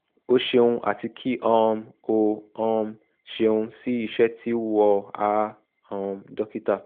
o ṣeun ati ki um o um ṣeun si iṣẹ ti "wọ a um dokita